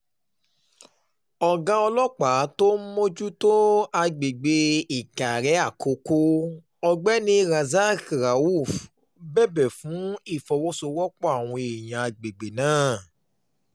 ọ̀gá ọlọ́pàá tó ń mójútó àgbègbè ìkàrẹ̀ àkókò ọ̀gbẹ́ni razak rauf bẹ̀bẹ̀ fún ìfọwọ́sowọ́pọ̀ àwọn èèyàn àgbègbè náà